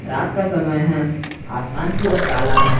रात का समय है आसमान पूरा काला है।